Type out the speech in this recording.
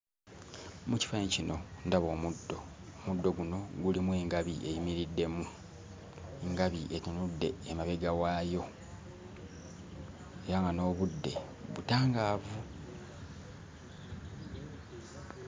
Mu kifaananyi kino ndaba omuddo. Omuddo guno gulimu engabi eyimiriddemu. Engabi etunudde emabega waayo era nga n'obudde butangaavu.